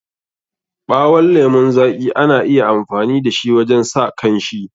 Ɓawon lemun zaƙi ana iya amfani da shi wajen sa kanshi.